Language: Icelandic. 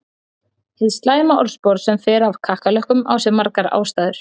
Hið slæma orðspor sem fer af kakkalökkum á sér margar ástæður.